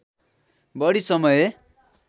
बढी समय